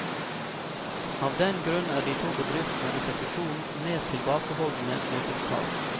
Av den grunn er de to bedriftene etter fusjonen mer tilbakeholdende med sitt salg.